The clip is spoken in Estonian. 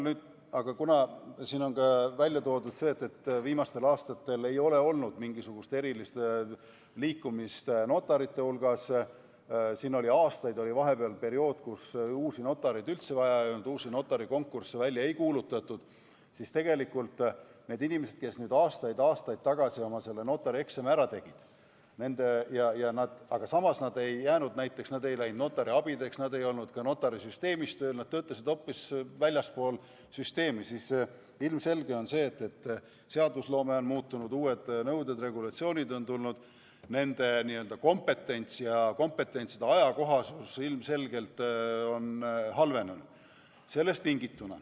Aga kuna siin on välja toodud, et viimastel aastatel ei ole notarite hulgas olnud mingisugust erilist liikumist – siin oli aastaid vahepeal periood, kus uusi notareid üldse vaja ei olnud, uusi notarikonkursse välja ei kuulutatud –, siis tegelikult need inimesed, kes aastaid-aastaid tagasi oma notarieksami ära tegid, aga samas nad ei läinud näiteks notariabideks, nad ei olnud ka notarisüsteemis tööl, nad töötasid hoopis väljaspool süsteemi, nende puhul on ilmselge, et seadusloome on muutunud, uued nõuded, regulatsioonid on peale tulnud ning nende kompetents ja kompetentside ajakohasus ilmselgelt on halvenenud.